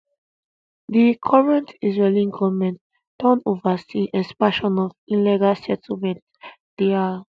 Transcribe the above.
di current israeli goment don oversee expansion of illegal settlements dia